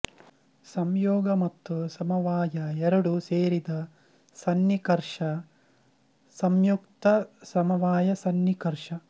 ಸಂಯೋಗ ಮತ್ತು ಸಮವಾಯ ಎರಡೂ ಸೇರಿದ ಸಂನಿಕರ್ಷ ಸಂಯುಕ್ತ ಸಮವಾಯ ಸಂನಿಕರ್ಷ